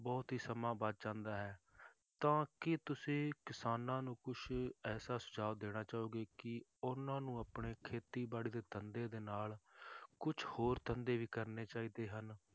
ਬਹੁਤ ਹੀ ਸਮਾਂ ਬਚ ਜਾਂਦਾ ਹੈ, ਤਾਂ ਕੀ ਤੁਸੀਂ ਕਿਸਾਨਾਂ ਨੂੰ ਕੁਛ ਐਸਾ ਸੁਝਾਅ ਦੇਣਾ ਚਾਹੋਗੇ ਕਿ ਉਹਨਾਂ ਨੂੰ ਆਪਣੇ ਖੇਤੀਬਾੜੀ ਦੇ ਧੰਦੇ ਦੇ ਨਾਲ ਕੁਛ ਹੋਰ ਧੰਦੇ ਵੀ ਕਰਨੇ ਚਾਹੀਦੇ ਹਨ,